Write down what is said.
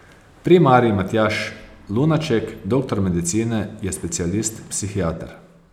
Primarij Matjaž Lunaček, doktor medicine, je specialist psihiater.